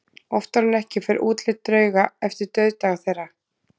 Oftar en ekki fer útlit drauga eftir dauðdaga þeirra.